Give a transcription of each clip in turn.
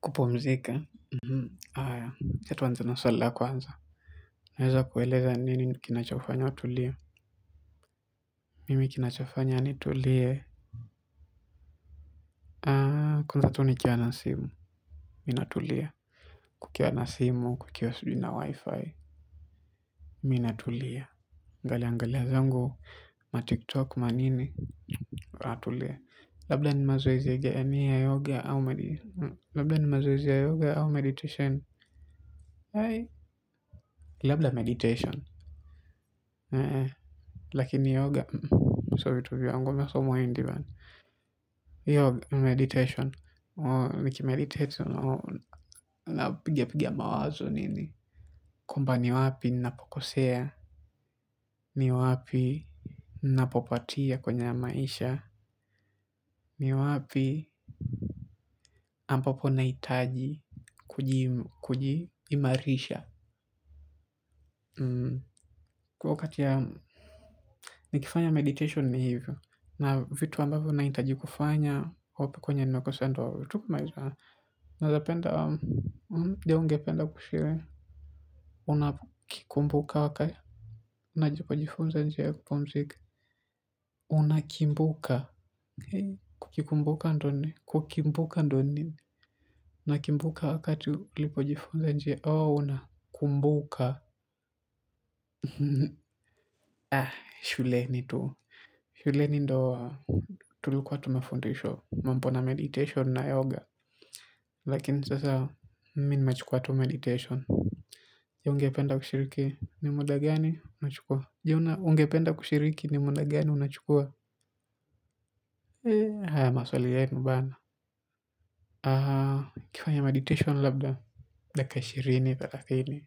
Kupumzika, haya wacha tuanze na swali la kwanza naweza kukueleza ni nini kinachowafanya watu kulia. Mimi kinachofanya nitulie. Kwanza tu nikiwa na simu mimi natulia. Kukiwa na simu, kukiwa sijui na wifi mimi natulia naangalia angalia zangu Matiktok manini natulia. Labda ni mazoezi ya yoga au meditation. Labda meditation. Lakini yoga. Sio vitu vyangu wala sio ya wengi meditation. Nikimeditate napigia pigia mawazo nini. Kumbe ni wapi ninapokosea. Ni wapi ninapopatia kwenye maisha. Ni wapi ambapo nahitaji kujiimarisha kwa wakati yangu nikifanya meditation ni hivo na vitu ambavyo ninahitaji kufanya hapo kwenye makosa ndo tu nawezapenda je ungependa kushiriki unakikumbuka unajipojifunza njia unakimbuka kikumbuka ndo ni kukimbuka ndo ni unakimbuka wakati ulipojifunza njia oh unakumbuka shuleni tu, shuleni ndio tulikuwa tunafundishwa mambo na meditation na yoga lakini sasa mimi nimechukuwa tu meditation je ungependa ushiriki ni muda gani unachukuwa je ungependa kushiriki ni muda gani unachukuwa. Maswali yenu bana ukifanya meditation labda dakika ishirini, thelathini.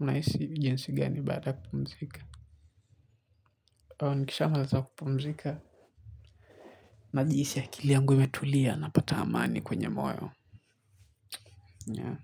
Unahisi jinsi gani baada kupumzika. Nikisha maliza kupumzika. Najihisi akilia yangu imetulia. Napata amani kwenye moyo yenyewe.